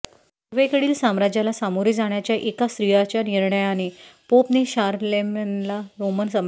पूर्वेकडील साम्राज्याला सामोरे जाण्याच्या एका स्त्रीच्या निर्णयामुळे पोपने शारलेमेनला रोमन सम्राट म्हणून मान्यता दिली